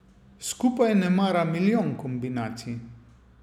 Skupaj nemara milijon kombinacij.